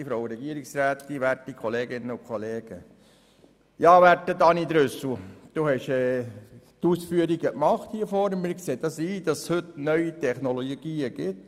Ja, werter Daniel Trüssel, Sie haben Ihre Ausführungen gemacht, und wir sehen ein, dass es heute neue Technologien gibt.